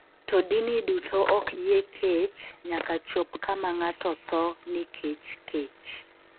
To dini duto ok oyie kech nyaka chop kama ng’ato tho nikech kech.